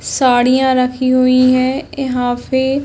साड़ियाँ रखी हुई है यहाँ पे --